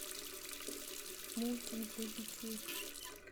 мультик для детей